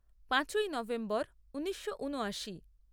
পাঁচই নভেম্বর ঊনিশো ঊনআশি